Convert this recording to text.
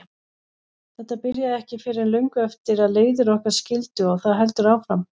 Þetta byrjaði ekki fyrr en löngu eftir að leiðir okkar skildi og það heldur áfram.